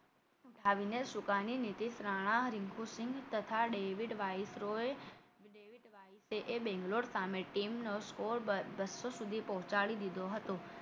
ઉઠાવીને સુકાની નીતિશ રાણા રીન્કુસિંગ તથા ડેબિટ વાઇસરોએ એ બેંગ્લોર સામે team score બસો સુધી પહોંચાડી દીઘો હતો